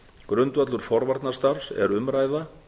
grundvöllur forvarnastarfs er umræða